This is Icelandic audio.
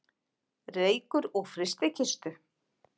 Reykur úr frystikistu